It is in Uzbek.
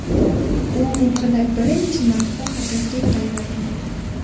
U umrida birinchi marta haqiqiy ranglarni ko‘rdi .